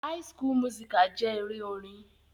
High school musical jẹ́ eré orin.